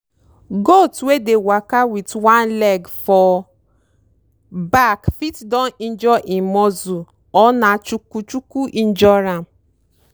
okro plant wey don weak dey fall down um for afternoon mean say dere root fit don dry or e too tight.